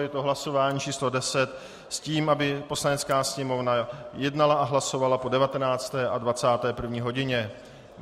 Je to hlasování číslo 10 s tím, aby Poslanecká sněmovna jednala a hlasovala po 19. a 21. hodině.